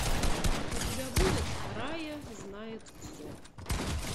у тебя будет рая знает все